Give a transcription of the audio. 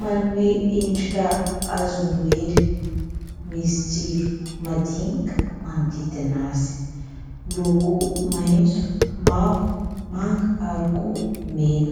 manome endrika hazo noely. Misy jiro madinika manodidina azy : miloko maitso, mavo, manga ary koa mena.